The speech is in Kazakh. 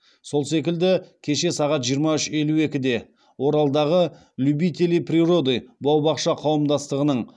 сол секілді кеше сағат жиырма үш елу екіде оралдағы любители природы бау бақша қауымдастығының